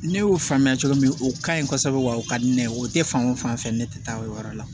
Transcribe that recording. Ne y'o faamuya cogo min na o kaɲi kosɛbɛ wa o ka di ne ye o tɛ fan o fan fɛ ne tɛ taa o yɔrɔ la